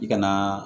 I ka na